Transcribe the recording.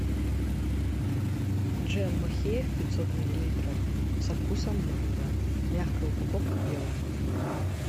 джем махеев пятьсот миллилитров со вкусом манго мягкая упаковка белая